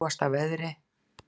Í ljúfasta veðri